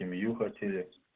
семью хотели